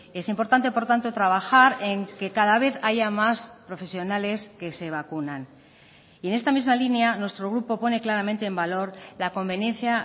es importante por tanto trabajar en que cada vez haya más profesionales que se vacunan y en esta misma línea nuestro grupo pone claramente en valor la conveniencia